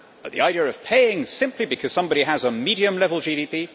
But the idea of paying simply because somebody has a medium level GDP?